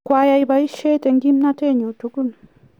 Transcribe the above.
kwa yai boishet eng kimnaetenyu tugul